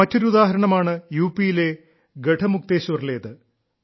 മറ്റൊരു ഉദാഹരണമാണ് യു പിയിലെ ഗഢമുക്തേശ്വറിലേത്